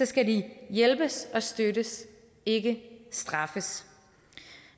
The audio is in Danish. skal de hjælpes og støttes ikke straffes